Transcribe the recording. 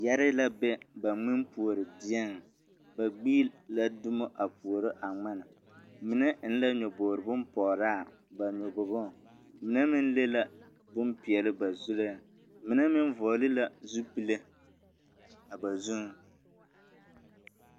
Yɛrii la be ba ŋmenpuori dieŋ ba gbi la dumo a puoro a ŋmen mine eŋ la a nyɔboore bompgraa ba nyɔboboŋ mine meŋ le la bompeɛli ba zureŋ mine meŋ vɔɔli la zupile a ba zuŋ.